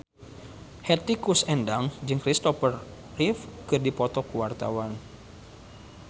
Hetty Koes Endang jeung Kristopher Reeve keur dipoto ku wartawan